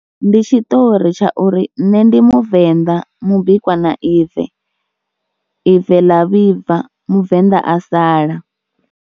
Ndi tshiṱori tsha uri nṋe ndi muvenḓa mubikwa na ive ḽa vhibva muvenḓa a sala.